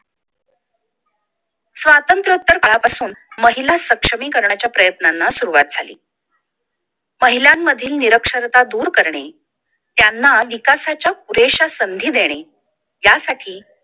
स्वातंत्र्योत्तर काळापासून महिला सक्षमीकरणाच्या प्रयत्नांना सुरुवात झाली पहिल्यांमधिल निरक्षरता दूर करणे त्यांना विकासाच्या पुरेशा संधी देणे यासाठी